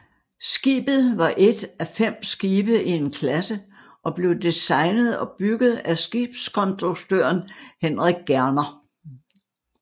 Skibet var et af fem skibe i en klasse og blev designet og bygget af skibskonstruktøren Henrik Gerner